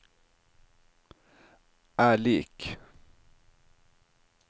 er lik